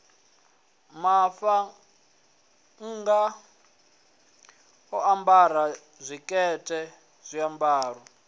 muṱhannga o ambara tshikete zwiambaro